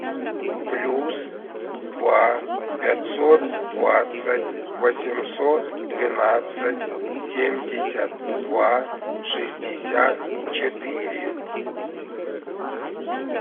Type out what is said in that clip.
плюс два пятьсот двадцать восемьсот двенадцать семьдесят два шестьдесят четыре